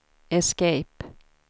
escape